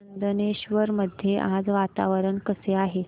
चंदनेश्वर मध्ये आज वातावरण कसे आहे